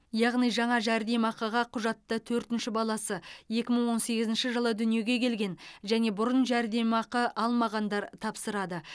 яғни жаңа жәрдемақыға құжатты төртінші баласы екі мың он сегізінші жылы дүниеге келген және бұрын жәрдемақы алмағандар тапсырады